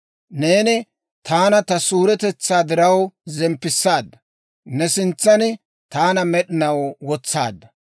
Neeni taana ta suuretetsaa diraw zemppisaadda; ne sintsan taana med'inaw wotsaadda.